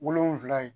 Wolonfila ye